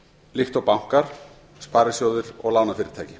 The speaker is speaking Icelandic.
líkt og bankar sparisjóðir og lánafyrirtæki